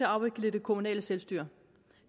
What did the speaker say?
afvikle det kommunale selvstyre